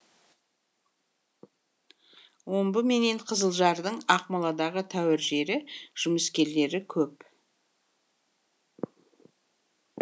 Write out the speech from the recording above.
омбы менен қызылжардың ақмоладағы тәуір жері жұмыскерлері көп